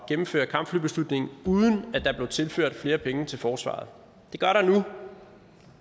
at gennemføre kampflybeslutningen uden at der blev tilført flere penge til forsvaret det gør der nu